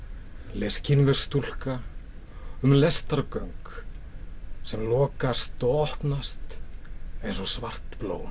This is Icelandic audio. les kínversk stúlka um lestargöng sem lokast og opnast eins og svart blóm